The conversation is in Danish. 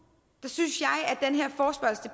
synes